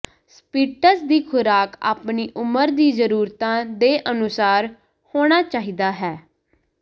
Spitz ਦੀ ਖੁਰਾਕ ਆਪਣੀ ਉਮਰ ਦੀ ਜ਼ਰੂਰਤਾਂ ਦੇ ਅਨੁਸਾਰ ਹੋਣਾ ਚਾਹੀਦਾ ਹੈ